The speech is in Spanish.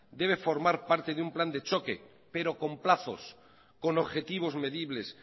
debe formar parte de un plan de choque pero con plazos con objetivos medibles